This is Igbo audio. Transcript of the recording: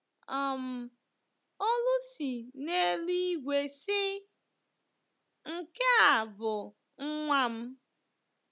um Olu si n’eluigwe sị, “Nke a bụ Nwa m ”